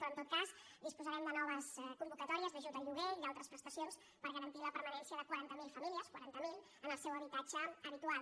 però en tot cas disposarem de noves convocatòries d’ajut al lloguer i d’altres prestacions per garantir la permanència de quaranta mil famílies quaranta mil en el seu habitatge habitual